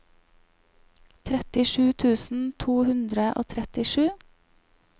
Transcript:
trettisju tusen to hundre og trettisju